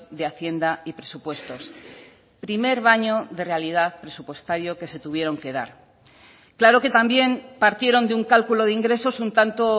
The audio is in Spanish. de hacienda y presupuestos primer baño de realidad presupuestario que se tuvieron que dar claro que también partieron de un cálculo de ingresos un tanto